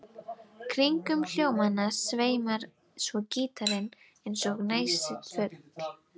Kringum hljómana sveimar svo gítarinn eins og nærsýnn fugl.